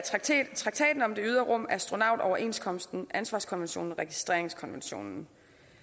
traktaten om det ydre rum astronautoverenskomsten ansvarskonventionen og registreringskonventionen